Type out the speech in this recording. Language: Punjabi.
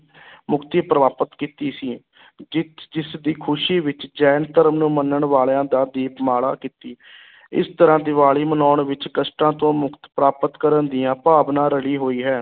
ਮੁਕਤੀ ਪ੍ਰਾਪਤ ਕੀਤੀ ਸੀ ਜਿੱਤ ਜਿਸ ਦੀ ਖ਼ੁਸ਼ੀ ਵਿੱਚ ਜੈਨ ਧਰਮ ਨੂੰ ਮੰਨਣ ਵਾਲਿਆਂ ਦਾ ਦੀਪਮਾਲਾ ਕੀਤੀ ਇਸ ਤਰ੍ਹਾਂ ਦੀਵਾਲੀ ਮਨਾਉਣ ਵਿੱਚ ਕਸ਼ਟਾਂ ਤੋਂ ਮੁਕਤ ਪ੍ਰਾਪਤ ਕਰਨ ਦੀਆਂ ਭਾਵਨਾ ਰਲੀ ਹੋਈ ਹੈ।